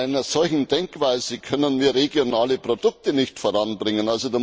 Bei einer solchen Denkweise können wir regionale Produkte nicht voranbringen.